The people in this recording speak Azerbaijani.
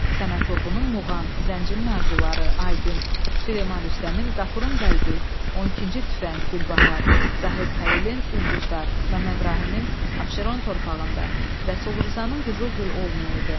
Səməd Vurğunun Muğan, Zəncinin arzuları, Aygün, Süleyman Rüstəmin, Qafurun qəlbi, 12-ci tüfəng, Gülbahar, Zahid Xəlilin ulduzlar, Məmməd Rahimin Abşeron torpağında, Rəsul Rzanın qızıl gül olmayadı.